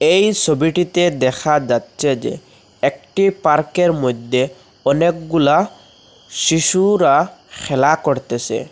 এই সবিটিতে দেখা যাচ্ছে যে একটি পার্কের মধ্যে অনেকগুলা শিশুরা খেলা করতেসে।